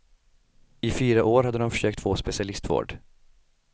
I fyra år hade de försökt få specialistvård.